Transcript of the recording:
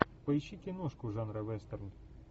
поищи киношку жанра вестерн